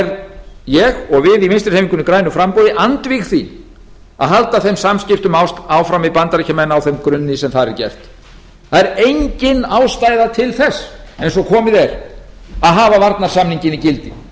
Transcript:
er ég og við í vinstri hreyfingunni grænu framboði andvíg því að halda þeim samskiptum áfram við bandaríkjamenn á þeim grunni sem þar er gert það er engin ástæða til þess eins og komið er að hafa varnarsamninginn í gildi